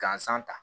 Gansan ta